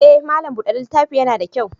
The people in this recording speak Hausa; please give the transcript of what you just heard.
Eh, malam bude littafi ya na da kyau.